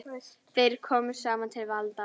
Þeir komust samt til valda.